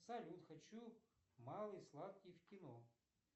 салют хочу малый сладкий в кино